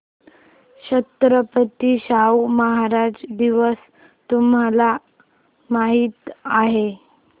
छत्रपती शाहू महाराज दिवस तुम्हाला माहित आहे